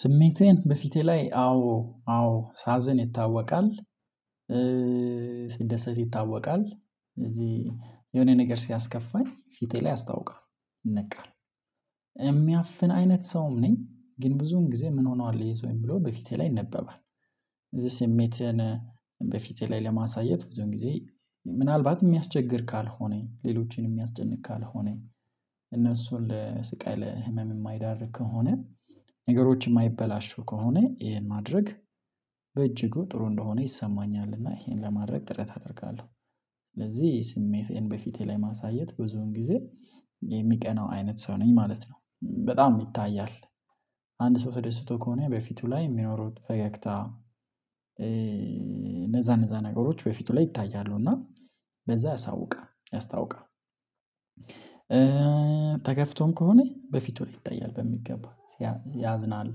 ስሜቴን በፊቴ ላይ አዎ አዎ ሳዝን ይታወቃል። ስደሰት ይታወቃል እዚህ የሆነ ነገር ሲያስከፋኝ ፊቴ ላይ ያስታውቃል በቃ የሚያፍን አይነት ሰውም ነኝ ግን ብዙን ጊዜ ምን ሆኗል የሰውኝ ብሎ በፊቴ ላይ ይነበባል። የዚህ ስሜትን በፊቴ ላይ ለማሳየት ወይ ደግሞ ጊዜ ምናልባት የሚያስቸግር ካልሆነ ሌሎችንም የሚያስጨንቅ ካልሆነኝ እነሱን ለስቃይ ለህመም የማይዳርግ ከሆነ ነገሮች የማይበላሹ ከሆነ ይሄን ማድረግ በእጅጉ ጥሩ እንደሆነ ይሰማኛል እና ይሄን ለማድረግ ጥረት አደርጋለሁ። ስለዚህ ስሜቴን በፊቴ ላይ ማሳየት ብዙን ጊዜ የሚቀናው አይነት ሰው ነኝ ማለት ነው። በጣም ይታያል። አንድ ሰው ተደስቶ ከሆነ በፊቱ ላይ የሚኖሩት ፈገግታ። እነዛ እነዛ ነገሮች በፊቱ ላይ ይታያሉ እና በዛ ያሳውቃል ያስታውቃል። ተከፍቶም ከሆነ በፊቱ ላይ ይታያል በሚገባ ያዝናል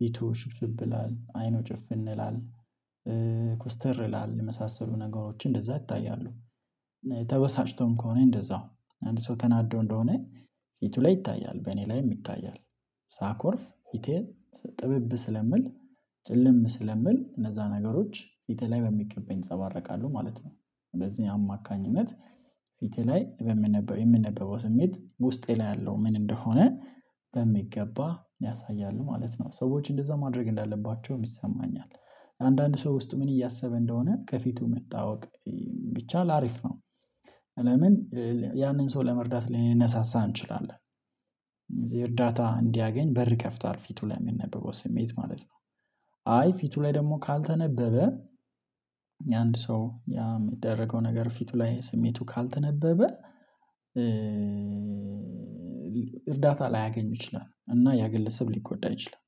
ፊቱ ሽብሽብ ይላል አይኑ ጭፍን ይላል ኮስተር ይላል የመሳሰሉ ነገሮችን እንደዛ ይታያሉ። እና ተበሳጭቶም ከሆነ እንደዛው አንድ ሰው ተናዶ እንደሆነ ፊቱ ላይ ይታያል በእኔ ላይም ይታያል። ሳኮርፍ ፊቴን ጥብብ ስለምል ጭልም ስለምል እነዛ ነገሮች ፊቴ ላይ በሚቀበኝ እፀባረቃለሁ ማለት ነው። በዚህ አማካኝነት ፊቴ ላይ በምንነበው የምንነበው ስሜት ውስጤ ላይ ያለው ምን እንደሆነ በሚገባ ያሳያሉ ማለት ነው። ሰዎች እንደዛ ማድረግ እንዳለባቸውም ይሰማኛል። አንዳንድ ሰው ውስጥ ምን እያሰበ እንደሆነ ከፊቱ መታወቅ ቢቻል ሀሪፍ ነው። ለምን ያንን ሰው ለመርዳት ልንነሳሳ እንችላለን እዚህ እርዳታ እንዲያገኝ በር ይከፍታል ፊቱ ላይ የምንነበበው ስሜት ማለት ነው። አይ ፊቱ ላይ ደግሞ ካልተነበበ የአንድ ሰው ያ የሚደረገው ነገር ፊቱ ላይ ስሜቱ ካልተነበበ። እርዳታ ላያገኙ ይችላሉ እና ያ ግለሰብ ሊጎዳ ይችላል።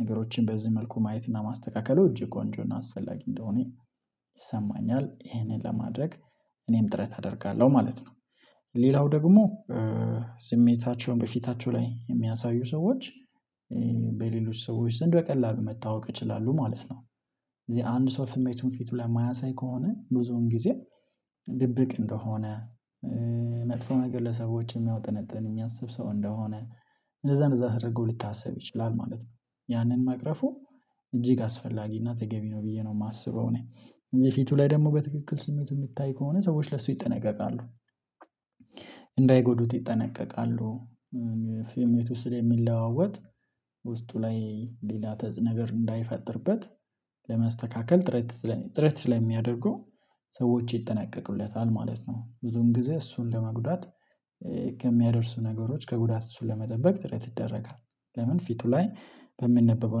ነገሮችን በዚህ መልኩ ማየት እና ማስተካከሉ እጅግ ቆንጆ እና አስፈላጊ እንደሆነ ይሰማኛል። ይሄንን ለማድረግ እኔም ጥረት አደርጋለሁ ማለት ነው። ሌላው ደግሞ ስሜታቸውን በፊታቸው ላይ የሚያሳዩ ሰዎች በሌሎች ሰዎች ዘንድ በቀላሉ መታወቅ ይችላሉ ማለት ነው። እዚህ አንድ ሰው ስሜቱን ፊቱ ላይ የማያሳይ ከሆነ ብዙውን ጊዜ ድብቅ እንደሆነ። መጥፎ ነገር ለሰዎች የሚያወጠነጥን የሚያስብ ሰው እንደሆነ እንደዛ እንደዛ ተደርገው ሊታሰብ ይችላል ማለት ነው። ያንን ማቅረፉ እጅግ አስፈላጊ እና ተገቢ ነው ብዬ ነው የማስበው እኔ እንደዚህ ፊቱ ላይ ደግሞ በትክክል ስሜት የሚታይ ከሆነ ሰዎች ለሱ ይጠነቀቃሉ። እንዳይጎዱት ይጠነቀቃሉ። ፊም የት ውስጥ የሚለዋወጥ ውስጡ ላይ ሌላ ተጽ ነገር እንዳይፈጥርበት ለመስተካከል ጥረት ስለሚያደርጉ ሰዎች ይጠነቀቁለታል ማለት ነው። ብዙም ጊዜ እሱን ለመጉዳት ከሚያደርሱ ነገሮች ከጉዳት እሱን ለመጠበቅ ጥረት ይደረጋል። ለምን ፊቱ ላይ በሚነበበው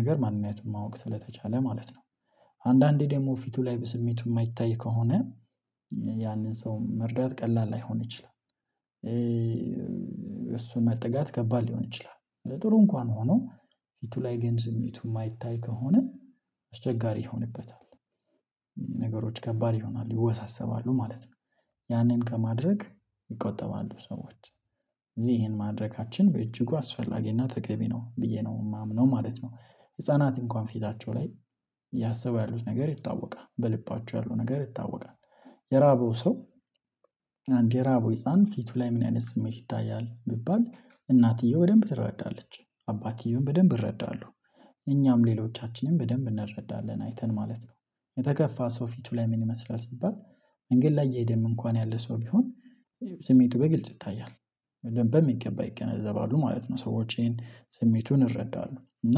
ነገር ማንነቱን ማወቅ ስለተቻለ ማለት ነው። አንዳንዴ ደግሞ ፊቱ ላይ በስሜቱ የማይታይ ከሆነ ያንን ሰው መርዳት ቀላል ላይሆን ይችላል። እሱን መጠጋት ከባድ ሊሆን ይችላል ጥሩ እንኳን ሆኖ ፊቱ ላይ ግን ስሜቱ የማይታይ ከሆነ አስቸጋሪ ይሆንበታል። ነገሮች ከባድ ይሆናል ይወሳሰባሉ ማለት ነው። ያንን ከማድረግ ይቆጠባሉ ሰዎች እዚህን ማድረጋችን በእጅጉ አስፈላጊና ተገቢ ነው ብዬ ነው የማምነው ማለት ነው። ህፃናት እንኳን ፊታቸው ላይ ያሰቡ ያሉት ነገር ይታወቃል በልባቸው ያሉ ነገር ይታወቃል። የራበው ሰው የራበው ህፃን ፊቱ ላይ ምን አይነት ስሜት ይታያል ቢባል እናትየው በደንብ ትረዳለች። አባትየውም በደንብ ይረዳሉ። እኛም ሌሎቻችንን በደንብ እንረዳለን አይተን ማለት ነው። የተከፋ ሰው ፊቱ ላይ ምን ይመስላል ሲባል መንገድ ላይ እየሄደም እንኳን ያለ ሰው ቢሆን ስሜቱ በግልጽ ይታያል። በሚገባ ይገነዘባሉ ማለት ነው ሰዎችን ስሜቱን ይረዳሉ እና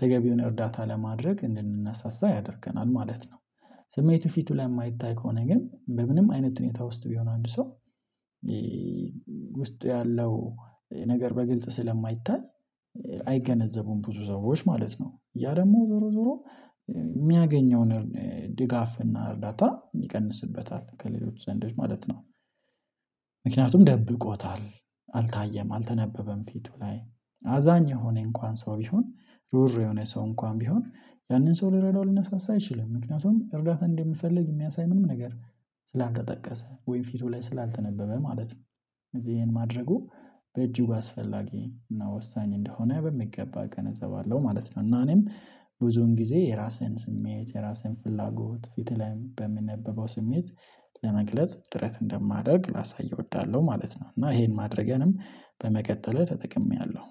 ተገቢውን እርዳታ ለማድረግ እንድንነሳሳ ያደርገናል ማለት ነው። ስሜቱ ፊቱ ላይ የማይታይ ከሆነ ግን በምንም አይነት ትሁኔታ ውስጥ ቢሆን አንድ ሰው ውስጡ ያለው ነገር በግልጽ ስለማይታይ አይገነዘቡም ብዙ ሰዎች ማለት ነው። ያ ደግሞ ዞሮ ዞሮ የሚያገኘውን ድጋፍ እና እርዳታ ይቀንስበታል ከሌሎች ዘንዶች ማለት ነው። ምክንያቱም ደብቆታል አልታየም አልተነበበም ፊቱ ላይ አዛኝ የሆነ እንኳን ሰው ቢሆን ሩር የሆነ ሰው እንኳን ቢሆን ያንን ሰው ልንረዳው ልንሳሳ አይችልም። ምክንያቱም እርዳታ እንደሚፈልግ የሚያሳይ ምንም ነገር ስላልተጠቀሰ ወይም ፊቱ ላይ ስላልተነበበ ማለት ነው። እዚህ ይሄን ማድረጉ በእጁ ባስፈላጊ እና ወሳኝ እንደሆነ በሚገባ እገነዘባለሁ ማለት ነው። እና እኔም ብዙን ጊዜ የራስህን ስሜት የራሴን ፍላጎት ፊትህ ላይ በምንነበበው ስሜት ለመግለጽ ጥረት እንደማደርግ ላሳይ እወዳለሁ ማለት ነው። እና ይሄን ማድረገንም በመቀጠል ተጠቅሜያለሁ።